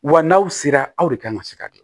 Wa n'aw sera aw de kan ka se ka dilan